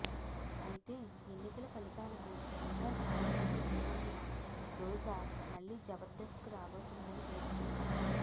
అయితే ఎన్నికల ఫలితాలకు ఇంకా చాలా టైం ఉన్నందున రోజా మళ్లీ జబర్దస్త్ కు రాబోతుందని తెలుస్తుంది